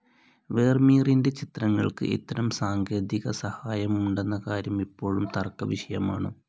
വേർമീറിൻ്റെ ചിത്രങ്ങൾക്ക് ഇത്തരം സാങ്കേതികസഹായമുണ്ടെന്ന കാര്യം ഇപ്പോഴും തർക്കവിഷയമാണ്.